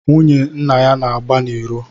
Nwunye nna ya na-agba n’iro